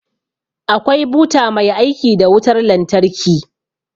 Akwai buta mai aiki da wutar lantarki